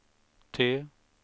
T